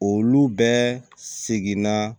Olu bɛɛ seginna